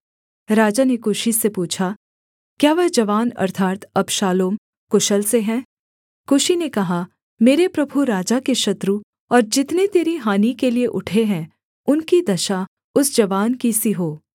राजा ने कूशी से पूछा क्या वह जवान अर्थात् अबशालोम कुशल से है कूशी ने कहा मेरे प्रभु राजा के शत्रु और जितने तेरी हानि के लिये उठे हैं उनकी दशा उस जवान की सी हो